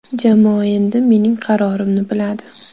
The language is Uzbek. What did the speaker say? Jamoa endi mening qarorimni biladi.